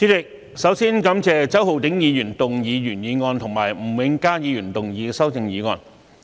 主席，首先感謝周浩鼎議員動議原議案和吳永嘉議員動議修正案。